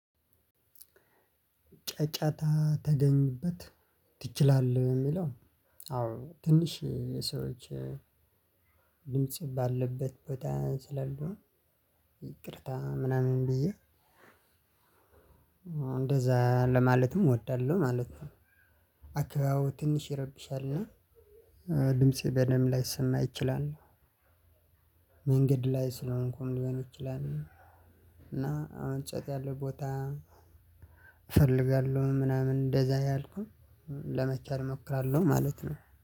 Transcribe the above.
ጨጫታ ተገኝበት ትችላለህ የሚለው አዎ ትንሽ ሰዎች ድምጽ ባለበት ቦታ ስላልሆን ይቅርታ ምናምን ብየ እንደዛለማለትም ወዳለሁ ማለት ነው። ኣከባቢው ትንሽ ይረብሻል እና ድምፄን በደንብ ላይሰማይችላል። መንገድ ላይ ስለሆንኩኝ ልሆንኩኝ ይችላል። እና አሁን ጸጥ ያለው ቦታ። እፈልጋለሁ ምናምን እንደዚያ እያልኩኝ ለመቸል እሞክራለሁ ማለት ነው